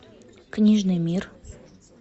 книжный мир